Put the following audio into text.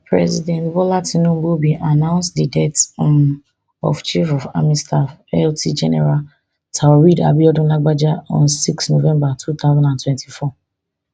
president bola tinubu bin announce di death um of chief of army staff lt gen taoreed abiodun lagbaja on six november two thousand and twenty-four